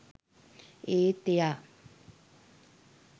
ඒත් එයා